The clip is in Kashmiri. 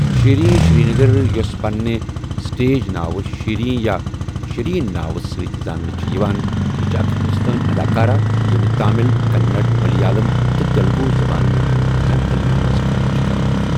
شیریٖن شٛرینٛگر، یوٚس پننہِ سٹیج ناو شیریٖن یا شِریٖن ناوٕ سۭتہِ زاننہٕ چھِ یِوان، یہِ چھےٚ اکھ ہندوستٲنہِ اداکارہ، ییٚمہِ تامِل، کنڑ، ملیالم تہٕ تیلگوٗ زبانَن ہِنٛزن فلمَن منٛز کٲم چھِ کٔرمٕژ۔